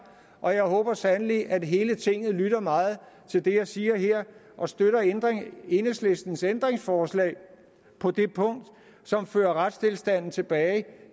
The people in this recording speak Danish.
og jeg håber sandelig at hele tinget lytter meget til det jeg siger her og støtter enhedslistens ændringsforslag på det punkt som fører retstilstanden tilbage